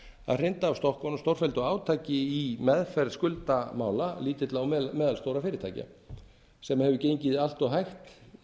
að hrinda af stokkunum stórfelldu átaki í meðferð skuldamála lítilla og meðalstórra fyrirtækja sem hefur gengið allt hægt